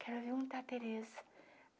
Quero ver onde está a Tereza.